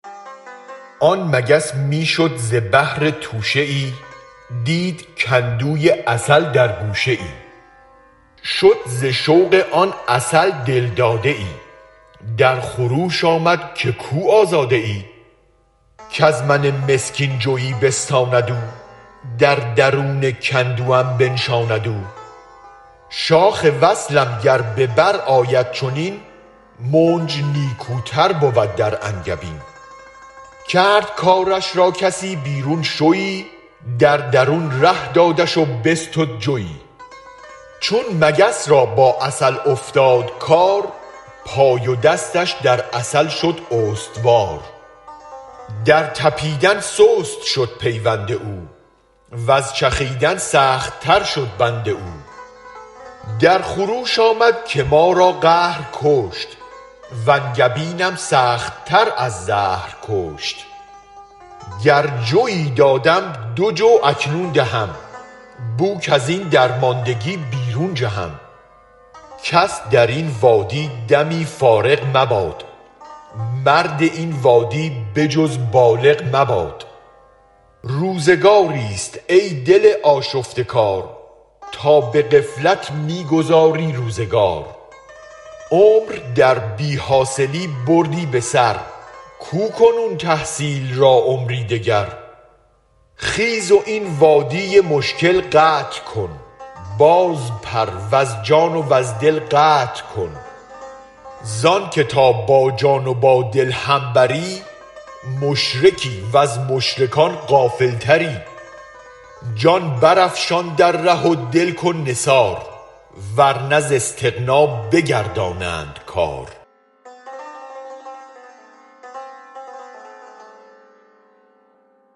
آن مگس می شد ز بهر توشه ای دید کندوی عسل در گوشه ای شد ز شوق آن عسل دل داده ای در خروش آمد که کو آزاده ای کز من مسکین جوی بستاند او در درون کندوم بنشاند او شاخ وصلم گر ببرآید چنین منج نیکوتر بود در انگبین کرد کارش را کسی بیرون شوی در درون ره دادش و بستد جوی چون مگس را با عسل افتاد کار پای و دستش در عسل شد استوار در طپیدن سست شد پیوند او وز چخیدن سخت تر شد بند او در خروش آمد که ما را قهر کشت وانگبینم سخت تر از زهر کشت گر جوی دادم دو جو اکنون دهم بوک ازین درماندگی بیرون جهم کس درین وادی دمی فارغ مباد مرد این وادی به جز بالغ مباد روزگاریست ای دل آشفته کار تا به غفلت می گذاری روزگار عمر در بی حاصلی بردی به سر کو کنون تحصیل را عمری دگر خیز و این وادی مشکل قطع کن بازپر وز جان وز دل قطع کن زانک تا با جان و بادل هم بری مشرکی وز مشرکان غافل تری جان برافشان در ره و دل کن نثار ورنه ز استغنی بگردانند کار